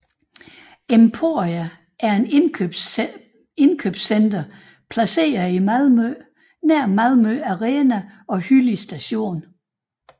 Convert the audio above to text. Emporia er et indkøbscenter placeret i Malmø nær Malmö Arena og Hyllie Station